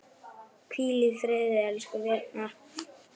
Hvíl í friði, elsku Birna.